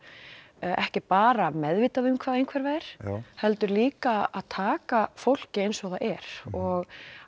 ekki bara meðvitað um hvað einhverfa er heldur líka að taka fólki eins og það er og